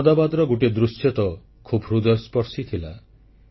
ଅହମଦାବାଦର ଗୋଟିଏ ଦୃଶ୍ୟ ତ ଖୁବ୍ ହୃଦୟସ୍ପର୍ଶୀ ଥିଲା